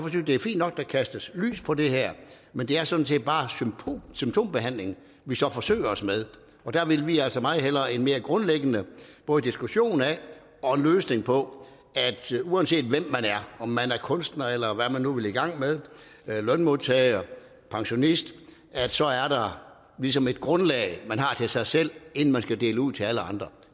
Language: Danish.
kastes lys på det her men det er sådan set bare symptombehandling vi så forsøger os med og der vil vi altså meget hellere have en mere grundlæggende både diskussion af og løsning på at uanset hvem man er om man er kunstner eller hvad man nu vil i gang med lønmodtager pensionist så er der ligesom et grundlag man har til sig selv inden man skal dele ud til alle andre